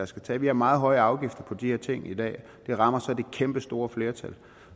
skal tage vi har meget høje afgifter på de her ting i dag og det rammer så det kæmpe store flertal